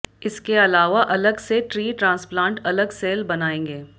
इसके अलावा अलग से ट्री ट्रांसप्लांट अलग सेल बनाएंगे